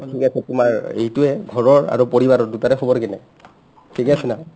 ঠিক আছে তোমাৰ এইটোৱে ঘৰৰ আৰু পৰিবাৰৰ দুটাৰে খবৰ কেনে ? ঠিকে আছে না ?